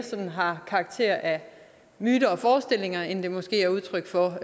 har karakter af myter og forestillinger end det måske er udtryk for